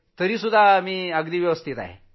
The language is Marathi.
तरीही मी व्यवस्थित आहे